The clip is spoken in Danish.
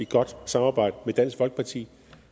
godt samarbejde med dansk folkeparti